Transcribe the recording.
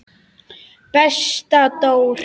Besta Dór.